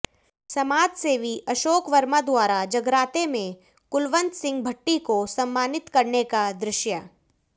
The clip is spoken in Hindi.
समाज सेवी अशोक शर्मा द्वारा जगराते में कुलवंत सिंह भठ्ठी को सम्मानित करने का दृश्य